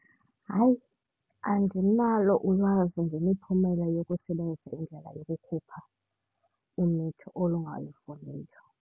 Hayi, andinalo ulwazi ngemiphumela yokusebenzisa indlela yokukhupha umitho olungalufuniyo.